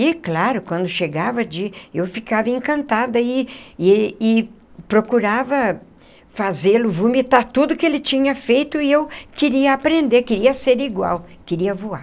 E, claro, quando chegava de eu ficava encantada e e e procurava fazê-lo vomitar tudo que ele tinha feito e eu queria aprender, queria ser igual, queria voar.